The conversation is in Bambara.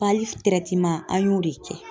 an y'o de kɛ.